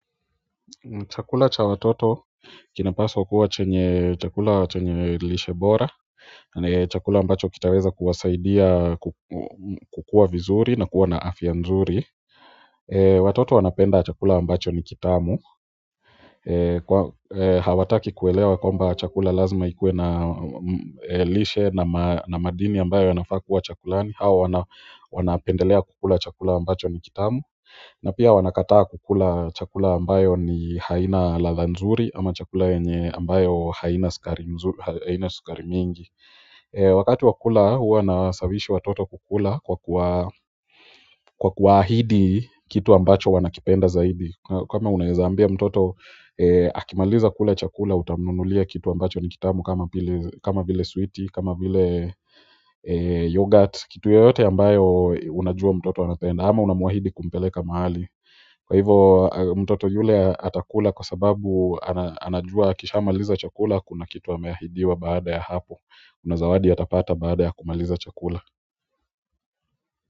Chakula cha watoto kinapaswa kuwa chenye chakula chenye lishe bora chakula ambacho kitaweza kuwasaidia kukua vizuri na kuwa na afya nzuri watoto wanapenda chakula ambacho ni kitamu. Hawataki kuelewa kwamba chakula lazima ikue na lishe na madini ambayo yanafaa kuwa chakulani hao wanapendelea kukula chakula ambacho ni kitamu na pia wanakataa kukula chakula ambayo ni haina ladha nzuri ama chakula yenye ambayo haina sukari mingi wakati wa kula huwa na sawishi watoto kukula kwa kuwaahidi kitu ambacho wanakipenda zaidi kama unaweza ambia mtoto akimaliza kula chakula utamnunulia kitu amabacho ni kitamu kama vile switi, kama vile youghurt kitu yeyote amabayo unajua mtoto anapenda ama unamuahidi kumpeleka mahali kwa hivyo mtoto yule atakula kwa sababu anajua akisha maliza chakula kuna kitu ameahidiwa baada ya hapo kuna zawadi atapata baada ya kumaliza chakula.